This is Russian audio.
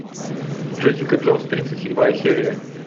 джессика джонс тридцать седьмая серия